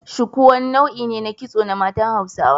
Shuku wani nau'I ne na kitso na matsan Hausawa.